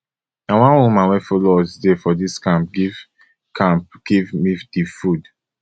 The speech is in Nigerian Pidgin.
na one woman wey follow us dey for dis camp give camp give me di food